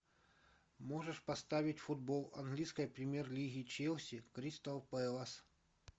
можешь поставить футбол английской премьер лиги челси кристал пэлас